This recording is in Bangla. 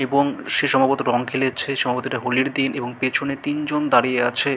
এবং সে সম্ভবত রং খেলেছে। সম্ভবত এটা হোলির দিন এবং পেছনে তিন জন দাঁড়িয়ে আছে।